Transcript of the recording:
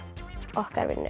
okkar vinni